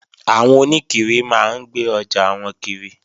Àwọn oníkiri máa ń gbé ọjà wọn kiri